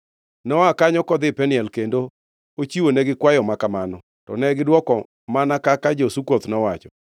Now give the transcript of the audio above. Noa kanyo kodhi Peniel kendo ochiwonegi kwayo makamano, to negidwoko mana kaka jo-Sukoth nowacho.